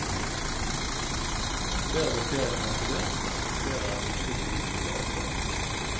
Flere av bakteriene han har studert, representerer sannsynligvis nye arter.